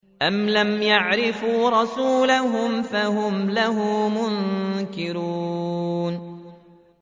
أَمْ لَمْ يَعْرِفُوا رَسُولَهُمْ فَهُمْ لَهُ مُنكِرُونَ